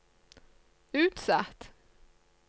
utsatt